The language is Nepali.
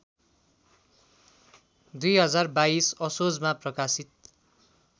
२०२२ असोजमा प्रकाशित